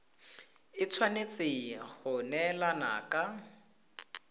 e tshwanetse go neelana ka